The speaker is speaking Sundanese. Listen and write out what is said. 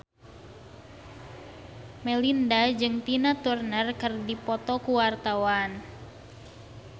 Melinda jeung Tina Turner keur dipoto ku wartawan